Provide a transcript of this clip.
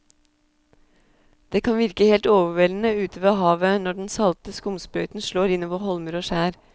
Det kan virke helt overveldende ute ved havet når den salte skumsprøyten slår innover holmer og skjær.